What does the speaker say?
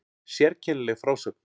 Sérkennileg frásögn